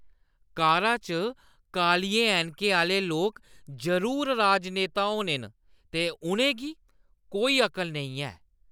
कारा च कालियें ऐनकें आह्‌ले लोक जरूर राजनेता होने न ते उʼनेंगी कोई अकल नेईं ऐ ।